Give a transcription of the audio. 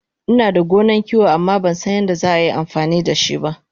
Inada gonan kiwo amma Bansan yadda za a yi amfani dashiba